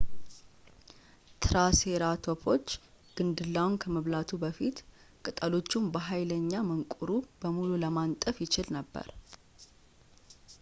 ትራሴራቶፖች ግንድላውን ከመብላቱ በፊት ቅጠሎቹን በኃይለኛ መንቁሩ በሙሉ ለማንጠፍ ይችል ነበር